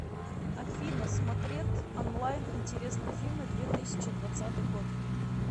афина смотретт онлайн интересные фильмы две тысячи двадцатый год